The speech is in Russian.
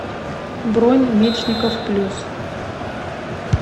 бронь мечников плюс